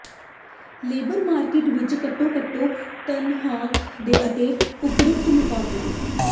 labour market ਵਿਚ ਘੱਟੋ ਘੱਟ ਤਨਖ਼ਾਹ ਅਤੇ ਅਪੂਰਤ ਮੁਕਾਬਲਾ